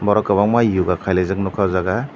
borok kwbangma yoga khailaijak nukha o jaga.